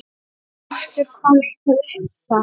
Hjörtur: Kom eitthvað upp þar?